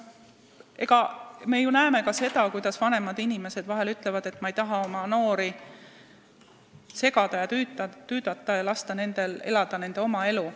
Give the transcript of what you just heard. Me kuuleme vahel, kuidas vanemad inimesed ütlevad, et nad ei taha noori segada ja tüüdata, las need elavad oma elu.